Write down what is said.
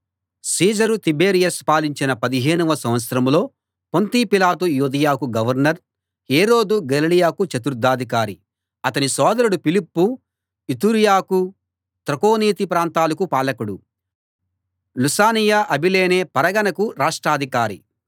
Caesar Tiberius పాలించిన పదిహేనవ సంవత్సరంలో పొంతి పిలాతు యూదయకు గవర్నర్ హేరోదు గలిలయకు చతుర్థాధికారి అతని సోదరుడు ఫిలిప్పు ఇతూరయకూ త్రకోనీతి ప్రాంతాలకూ పాలకుడు లుసానియ అబిలేనే పరగణాకు రాష్ట్రాధికారి